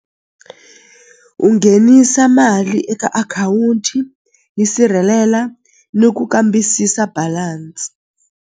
U nghenisa mali eka akhawunti yi sirhelela ni ku kambisisa balance.